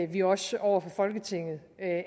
vi også over for folketinget